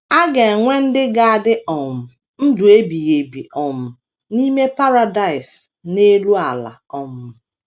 A ga - enwe ndị ga - adị um ndụ ebighị ebi um n’ime Paradaịs n’elu ala um.